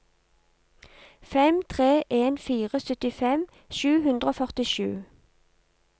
fem tre en fire syttifem sju hundre og førtisju